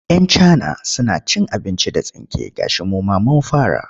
Yan cana suna cin abinci da tsinke gashi mu ma mun fara.